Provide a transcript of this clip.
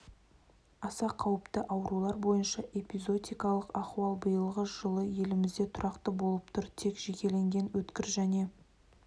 аса қауіпті аурулар бойынша эпизоотикалық ахуал биылғы жылы елімізде тұрақты болып тұр тек жекелеген өткір және